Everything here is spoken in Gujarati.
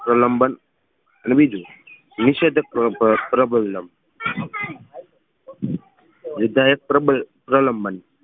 પ્રલંબન કરી ને નિષધક પ્રબલમ વિધાયક પ્રબળ પ્રલંબન